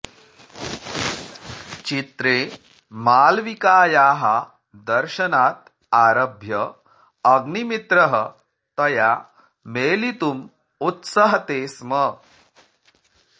चित्रे मालविकायाः दर्शनात् आरभ्य अग्निमित्रः तया मेलितुम् उत्सहते स्म